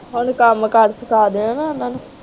ਹਲੇ ਕੰਮ ਕਾਰ ਸਿੱਖਾਂ ਦੀਓ ਓਹਨਾ ਨੂੰ